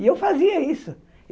E eu fazia isso.